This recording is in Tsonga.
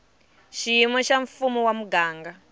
xiyimo xa mfumo wa muganga